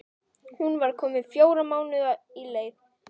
Hún var komin fjóra mánuði á leið.